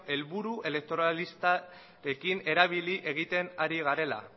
helburu elektoralista ekin erabili egiten ari garela